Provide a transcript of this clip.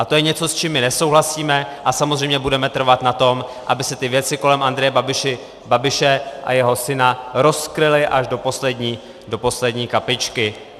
A to je něco, s čím my nesouhlasíme, a samozřejmě budeme trvat na tom, aby se ty věci kolem Andreje Babiše a jeho syna rozkryly až do poslední kapičky.